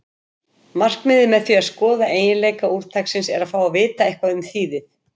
Markmiðið með því að skoða eiginleika úrtaksins er að fá að vita eitthvað um þýðið.